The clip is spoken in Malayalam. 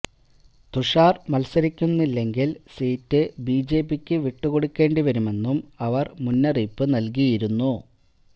തുഷാർ മൽസരിക്കുന്നില്ലെങ്കിൽ സീറ്റ് ബിജെപിക്കു വിട്ടുകൊടുക്കേണ്ടി വരുമെന്നും അവർ മുന്നറിയിപ്പു നൽകിയിരുന്നു